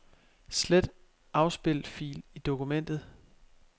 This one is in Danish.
Slet afspil fil i dokumentet.